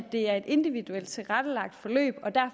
det er et individuelt tilrettelagt forløb